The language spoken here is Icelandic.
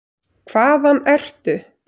Hvaðan ertu?